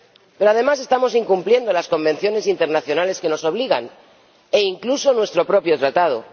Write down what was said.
Pero, además, estamos incumpliendo las convenciones internacionales que nos obligan a ser solidarios, e incluso nuestro propio Tratado.